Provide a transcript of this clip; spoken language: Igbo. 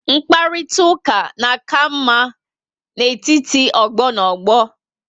Mkparitauka na aka ama n'etiti ogbo na ogbo